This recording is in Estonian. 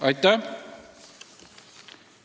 Aitäh!